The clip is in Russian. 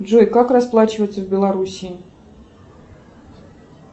джой как расплачиваться в белоруссии